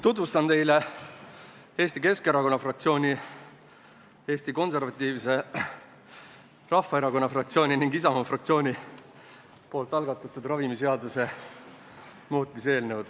Tutvustan teile Eesti Keskerakonna fraktsiooni, Eesti Konservatiivse Rahvaerakonna fraktsiooni ning Isamaa fraktsiooni algatatud ravimiseaduse muutmise seaduse eelnõu.